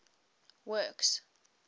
works